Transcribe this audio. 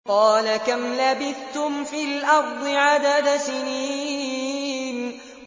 قَالَ كَمْ لَبِثْتُمْ فِي الْأَرْضِ عَدَدَ سِنِينَ